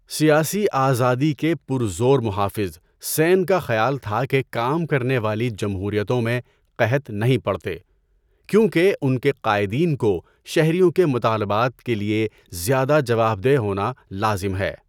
سیاسی آزادی کے پرزور محافظ، سین کا خیال تھا کہ کام کرنے والی جمہوریتوں میں قحط نہیں پڑتے کیونکہ ان کے قائدین کو شہریوں کے مطالبات کے لیے زیادہ جواب دہ ہونا لازم ہے۔